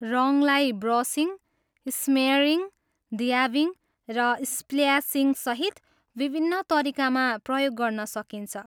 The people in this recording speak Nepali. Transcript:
रङलाई ब्रसिङ, स्मेयरिङ, ड्याबिङ, र स्प्ल्यासिङसहित विभिन्न तरिकामा प्रयोग गर्न सकिन्छ।